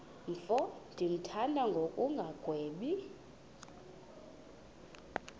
mfo ndimthanda ngokungagwebi